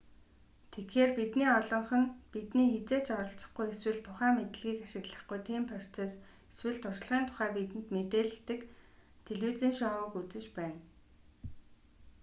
тэгэхээр бидний олонх нь бидний хэзээ ч оролцохгүй эсвэл тухайн мэдлэгийг ашиглахгүй тийм процесс эсвэл туршлагын тухай бидэнд мэдээлдэг телевизийн шоуг үзэж байна